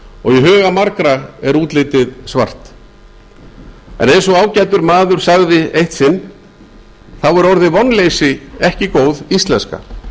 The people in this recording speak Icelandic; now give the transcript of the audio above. og í huga margra er útlitið svart en eins og ágætur maður sagði eitt sinn þá er orðið vonleysi ekki góð íslenska